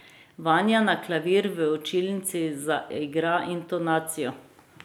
Vanja na klavir v učilnici zaigra intonacijo.